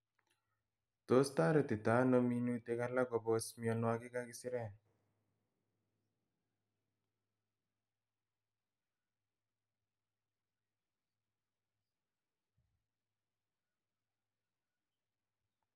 tos toretito ano minutik alak kobos mianwogik ak isirek